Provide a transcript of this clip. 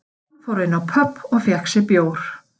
Hann fór inn á pöbb og fékk sér bjór